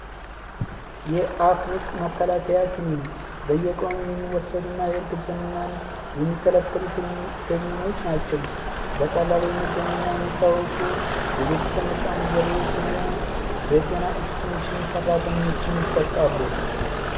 የአፍ ውስጥ መከላከያ ክኒን በየቀኑ የሚወሰዱ እና የእርግዝናን የሚከለከሉ ክልኒኖች ናቸው በቀላሉ የሚገኙ እና የሚታወቁ የቤተሰብ ምጣኔ ዘዴዎች ሲሆኑ በጤና እክስቴንሽን ሰራተኞችም ይሰጣሉ።